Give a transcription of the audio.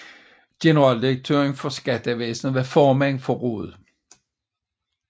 Generaldirektøren for Skattevæsenet var formand for rådet